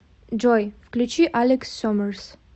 джой включи алекс сомерс